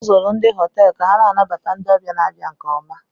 A zụrụ ndị ọrụ họteelụ ka ha na-anabata ndị ọbịa na-abịa nke oma